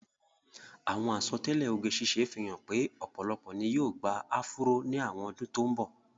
Àwọn àsọtẹ́lẹ̀ oge ṣíṣe fi hàn pé ọ̀pọ̀lọpọ̀ ni yóò gba áfúró ní àwọn ọdún tó ń bọ̀.